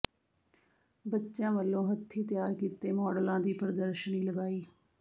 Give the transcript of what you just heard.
ਬੱ ਚਿਆਂ ਵਲੋਂ ਹੱਥੀਂ ਤਿਆਰ ਕੀਤੇ ਮਾਡਲਾਂ ਦੀ ਪ੍ਰਦਰਸ਼ਨੀ ਲਗਾਈ